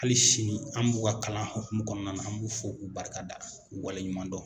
Hali sini an b'u ka kalan hukumu kɔnɔna na, an b'u fɔ k'u barika da k'u waleɲuman dɔn!